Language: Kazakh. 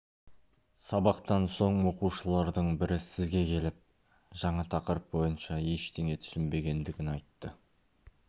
сабақтан соң оқушылардың бірі сізге келіп жаңа тақырып бойынша ештеңе түсінбегендігін айтты